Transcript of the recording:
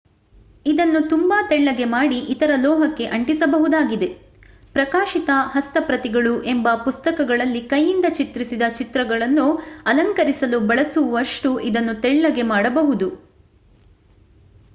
ಇದನ್ನು ತುಂಬಾ ತೆಳ್ಳಗೆ ಮಾಡಿ ಇತರ ಲೋಹಕ್ಕೆ ಅಂಟಿಸಬಹುದಾಗಿದೆ ಪ್ರಕಾಶಿತ ಹಸ್ತಪ್ರತಿಗಳು ಎಂಬ ಪುಸ್ತಕಗಳಲ್ಲಿ ಕೈಯಿಂದ ಚಿತ್ರಿಸಿದ ಚಿತ್ರಗಳನ್ನು ಅಲಂಕರಿಸಲು ಬಳಸವಷ್ಟು ಇದನ್ನು ತೆಳ್ಳಗೆ ಮಾಡಬಹುದು